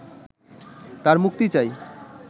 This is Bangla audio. তাঁর মুক্তি চাই